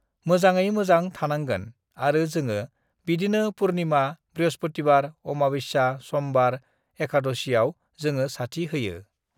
मोजाङै मोजां थानांगोन आरो जोङो बिदिनो पुर्निमा बृहष्पतिबार अमाबस्या समबार एखाद'सियाव जोङो साथि होयो